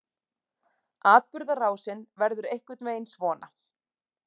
Atburðarásin verður einhvern veginn svona: